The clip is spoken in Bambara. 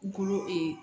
Kolo